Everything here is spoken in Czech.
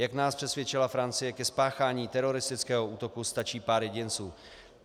Jak nás přesvědčila Francie, ke spáchání teroristického útoku stačí pár jedinců.